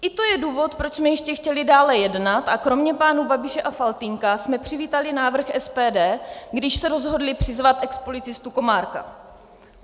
I to je důvod, proč jsme ještě chtěli dále jednat a kromě pánů Babiše a Faltýnka jsme přivítali návrh SPD, když se rozhodli přizvat expolicistu Komárka.